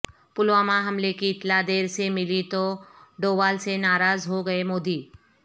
پلوامہ حملہ کی اطلاع دیر سے ملی تو ڈووال سے ناراض ہو گئے مودی